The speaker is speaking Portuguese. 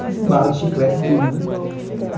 Tudo de bala, de chiclete e tudo, né?